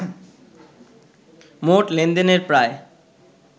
মোট লেনদেনের প্রায়